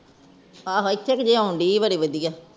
ਆਹੋ ਇਥੇਕ ਜੋਗੀ ਆਨ ਡਈ ਬੜੀ ਵਧੀਆ